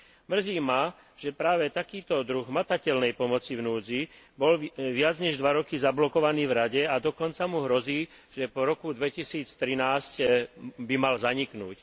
Mrzí ma, že práve takýto druh hmatateľnej pomoci v núdzi bol viac než dva roky zablokovaný v Rade a dokonca mu hrozí, že po roku 2013 by mal zaniknúť.